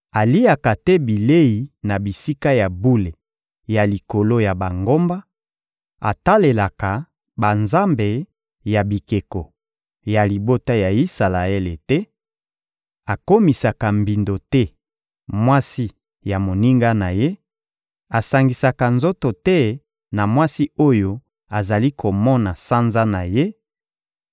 aliaka te bilei na bisika ya bule ya likolo ya bangomba, atalelaka banzambe ya bikeko ya libota ya Isalaele te, akomisaka mbindo te mwasi ya moninga na ye, asangisaka nzoto te na mwasi oyo azali komona sanza na ye,